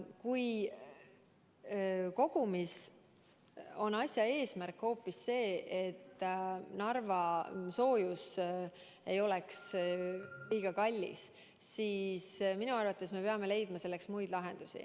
Kui kogu asja eesmärk on hoopis see, et Narva soojus ei oleks liiga kallis, siis minu arvates me peame leidma selleks muid lahendusi.